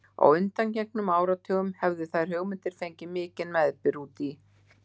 Á undangengnum áratugum hefðu þær hugmyndir fengið mikinn meðbyr úti í